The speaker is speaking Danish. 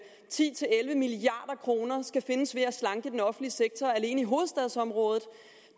ti til elleve milliard kroner skal findes ved at slanke den offentlige sektor alene i hovedstadsområdet